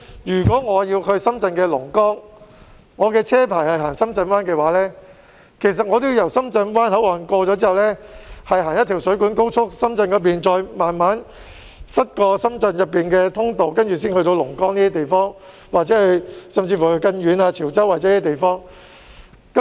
如果我要去深圳龍崗，而我的車牌只適用於行駛深圳灣，我便要在經過深圳灣口岸後上水官高速，然後從深圳一邊慢慢塞車經過深圳市內的通道，才能到達龍崗或更遠的潮州等地。